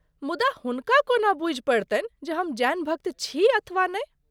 मुदा हुनका कोना बूझि पड़तनि जे हम जैन भक्त छी अथवा नहि?